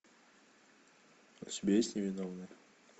у тебя есть невиновные